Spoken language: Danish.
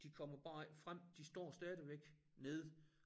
De kommer bare ikke frem de står stadigvæk nede